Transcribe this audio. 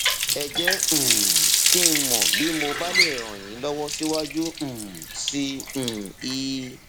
ẹ jẹ um kí n mọ bí mo bá lè ràn yín lọwọ síwájú um sí um i